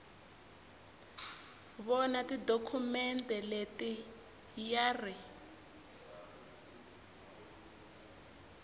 vona tidokhumente leti ya ri